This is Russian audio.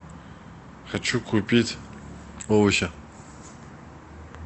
хочу купить овощи